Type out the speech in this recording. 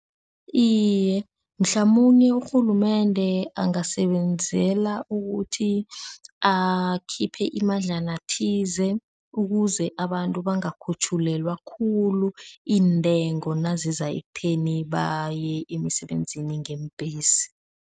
Iye, mhlamunye urhulumende angasebenzela ukuthi akhiphe imadlana thize ukuze abantu bangakhutjhulelwa khulu iintengo naziza ekutheni baye emsebenzini ngeembhesi.